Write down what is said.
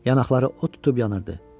Yanaqları od tutub yanırdı.